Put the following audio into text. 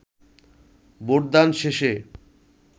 ভোটদান শেষে